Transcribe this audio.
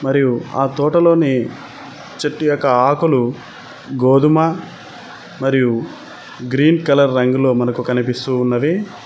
మరియు ఆ తోటలోని చెట్టు యొక్క ఆకులు గోధుమ మరియు గ్రీన్ కలర్ రంగులో మనకు కనిపిస్తూ ఉన్నవి.